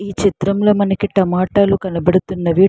ఈ చిత్రంలో మనకి టమాటాలు కనబడుతున్నవి.